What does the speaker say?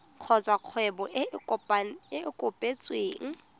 kgotsa kgwebo e e kopetsweng